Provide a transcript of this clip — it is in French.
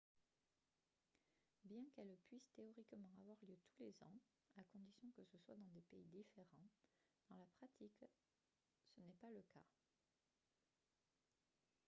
bien qu'elles puisent théoriquement avoir lieu tous les ans à condition que ce soit dans des pays différents dans la pratique ce n'est pas le cas